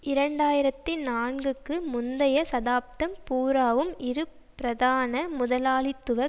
இரண்டு ஆயிரத்தி நான்குக்கு முந்திய சதாப்தம் பூராவும் இரு பிரதான முதலாளித்துவ